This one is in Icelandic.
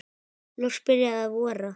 Loks byrjaði að vora.